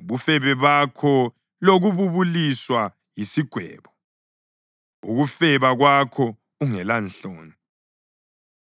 ubufebe bakho lokububuliswa yisigwebo, ukufeba kwakho ungelanhloni!